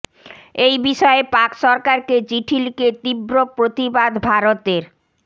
এই বিষয়ে পাক সরকারকে চিঠি লিখে তীব্র প্রতিবাদ ভারতের